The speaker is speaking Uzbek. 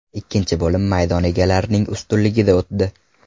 Ikkinchi bo‘lim maydon egalarining ustunligida o‘tdi.